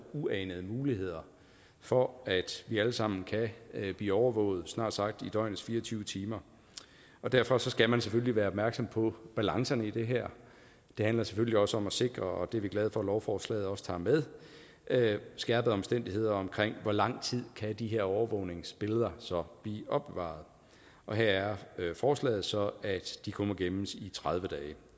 er uanede muligheder for at vi alle sammen kan blive overvåget snart sagt i døgnets fire og tyve timer derfor skal man selvfølgelig være opmærksom på balancerne i det her det handler selvfølgelig også om at sikre og det er vi glade for at lovforslaget også tager med skærpede omstændigheder om hvor lang tid de her overvågningsbilleder så blive opbevaret og her er forslaget så at de kun må gemmes i tredive dage